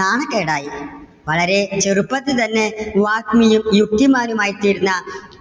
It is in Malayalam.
നാണക്കേടായി. വളരെ ചെറുപ്പത്തിൽ തന്നെ വാഗ്മിയും യുക്തിമാനുമായി തീർന്ന